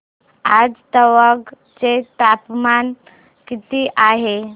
आज तवांग चे तापमान किती आहे